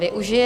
Využije.